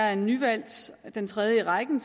er nyvalgt som den tredje i rækken